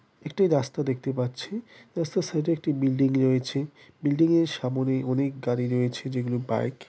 একটি রাস্তা দেখতে পাচ্ছি । রাস্তার সাইড -এ একটি বিল্ডিং রয়েছে । বিল্ডিং -এর সামোনে অনেক গাড়ি রয়েছে যে গুলি বাইক।